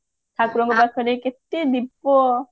ଠାକୁରଙ୍କ ପାଖରେ କେତେ ଦୀପ